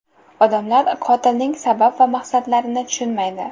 Odamlar qotilning sabab va maqsadlarini tushunmaydi.